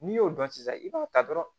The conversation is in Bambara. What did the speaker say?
N'i y'o dɔn sisan i b'a ta dɔrɔn